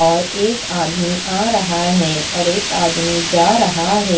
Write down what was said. और एक आदमी आ रहा है और एक आदमी जा रहा है।